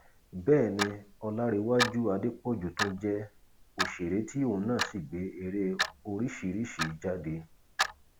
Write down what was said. bẹẹ ni ọlárèwájú adépọjù tún jẹ òṣèré tí òun náà sì gbé ère oríṣìíríṣìí jáde